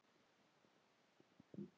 Rak jafnvel Júlíu burt.